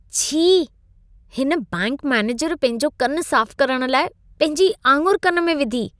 छी। हिन bank manager पंहिंजो कन साफ करण लाइ पंहिंजी आङुर कन में विधी।